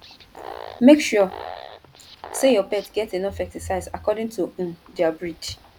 make sure say your pet get enough exercise according to um their breed